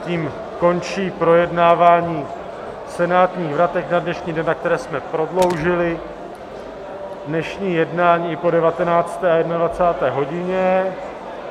Tím končí projednávání senátních vratek na dnešní den, na které jsme prodloužili dnešní jednání i po 19. a 21. hodině.